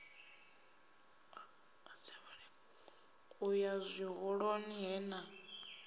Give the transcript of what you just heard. u ya zwihoḓoni he na